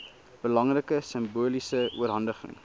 belangrike simboliese oorhandiging